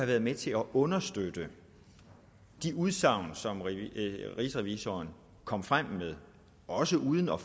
været med til at understøtte de udsagn som rigsrevisoren kom frem med også uden at